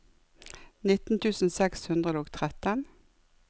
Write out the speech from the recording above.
nitten tusen seks hundre og tretten